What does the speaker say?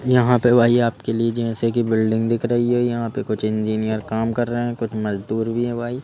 यहाँ पे भाई आपके लिए जैसे कि बिल्डिंग दिख रही है यहाँ पे कुछ इंजीनियर काम कर रहे हैं कुछ मजदूर भी हैं भाई।